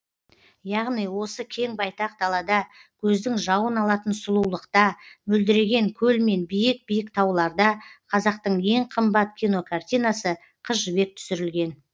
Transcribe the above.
яғни осы кең байтақ далада көздің жауын алатын сұлулықта мөлдіреген көл мен биік биік тауларда қазақтың ең қымбат кинокартинасы қыз жібек түсірілген